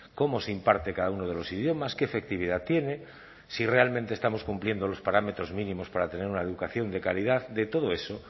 cómo se imparte cada uno de los idiomas qué efectividad tiene si realmente estamos cumpliendo los parámetros mínimos para tener una educación de calidad de todo eso